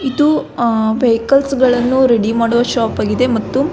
ಇದು ವೈಕಲ್ಸ್ ಗಳನ್ನು ರೆಡಿ ಮಾಡುವ ಶಾಪ್ ಆಗಿದೆ ಮತ್ತು --